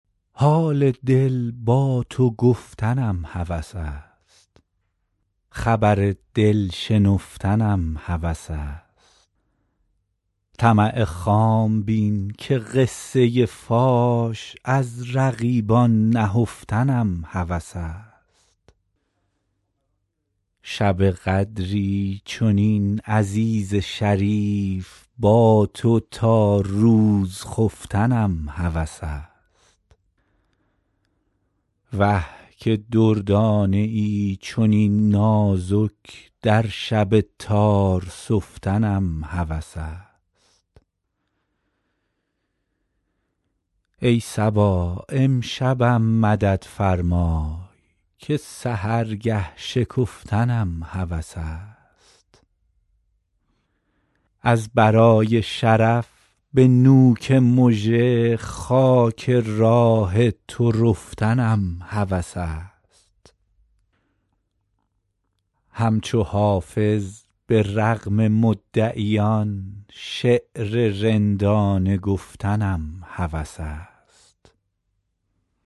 حال دل با تو گفتنم هوس است خبر دل شنفتنم هوس است طمع خام بین که قصه فاش از رقیبان نهفتنم هوس است شب قدری چنین عزیز شریف با تو تا روز خفتنم هوس است وه که دردانه ای چنین نازک در شب تار سفتنم هوس است ای صبا امشبم مدد فرمای که سحرگه شکفتنم هوس است از برای شرف به نوک مژه خاک راه تو رفتنم هوس است همچو حافظ به رغم مدعیان شعر رندانه گفتنم هوس است